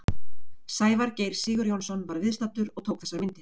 Sævar Geir Sigurjónsson var viðstaddur og tók þessar myndir.